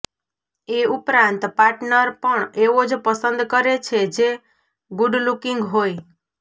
એ ઉપરાંત પાર્ટનર પણ એવો જ પસંદ કરે છે જે ગુડલુકિંગ હોય